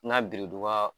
N ka biriduga